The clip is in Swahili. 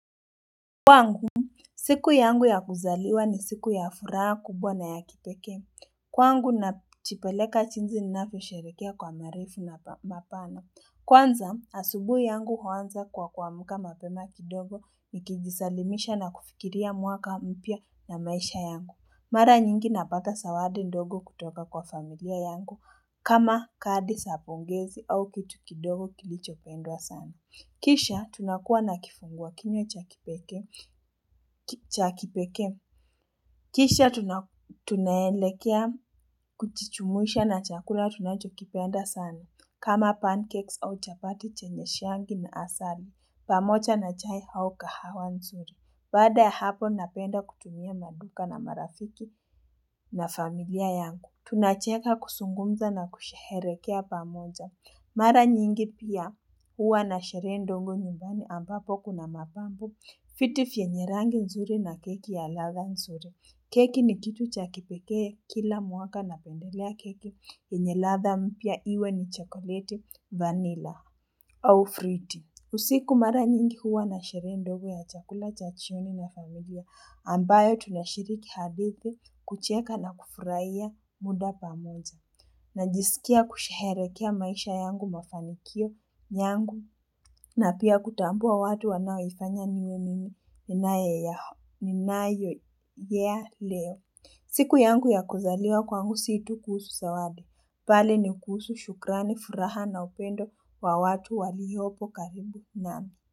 Kwangu siku yangu ya kuzaliwa ni siku ya furaha kubwa na ya kipekee kwangu najipeleka jinsi ninavyosherekea kwa marefu na mapana kwanza asubuhi yangu huanza kwa kuamuka mapema kidogo nikijisalimisha na kufikiria mwaka mpya na maisha yangu mara nyingi napata zawadi ndogo kutoka kwa familia yangu kama kadi zapongezi au kitu kidogo kilicho pendwa sana Kisha tunakuwa na kifungwa kinywa chakipeke. Kisha tunaelekea kujijumuisha na chakula tunachokipenda sana. Kama pancakes au chapati chenye shangi na asari. Pamoja na chai au kahawa nzuri. Bada hapo napenda kutumia maduka na marafiki na familia yangu. Tunacheka kuzungumza na kusherehekea pamoja. Mara nyingi pia huwa na sherehe ndogo nyumbani ambapo kuna mapambo. Vitu yenye rangi nzuri na keki ya latha nzuri. Keki ni kitu cha kipeke kila mwaka na pendelea keki yenye latha mpya iwe ni chocolate vanilla au fruity. Usiku mara nyingi huwa na sherehe ndogo ya chakula chajioni na familia ambayo tunashiriki hadithibu kucheka na kufurahiya muda pamoja. Najisikia kusherehekea maisha yangu mafanikio yangu na pia kutambua watu wanao ifanya niyo nini ninae ya leo. Siku yangu ya kuzaliwa kwangu si tu kuhusu zawadi. Mbali ni kuhusu shukrani, furaha na upendo wa watu waliopo karibu nami.